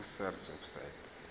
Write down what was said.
ku sars website